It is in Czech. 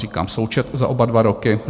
Říkám součet za oba dva roky.